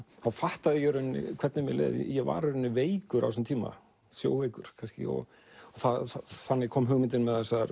fattaði ég í rauninni hvernig mér leið ég var í rauninni veikur á þessu tíma sjóveikur kannski þannig kom hugmyndin með þessar